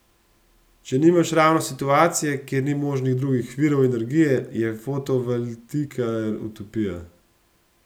Če nimaš ravno situacije, kjer ni možnih drugih virov energije, je fotovoltaika utopija!